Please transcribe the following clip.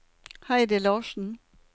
Heidi Larsen